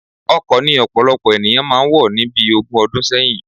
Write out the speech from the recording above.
Ọkọ ni ọ̀pọ̀lọpọ̀ ènìyàn máa wọ̀ ni bí ogún ọdún sẹ́yìn